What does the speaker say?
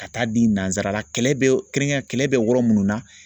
Ka taa di nansarala kɛrɛnkɛrɛn kɛlɛ bɛ yɔrɔ minnu na